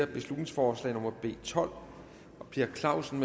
beslutningsforslag nummer b tolv per clausen